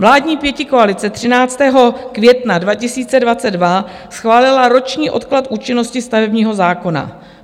Vládní pětikoalice 13. května 2022 schválila roční odklad účinnosti stavebního zákona.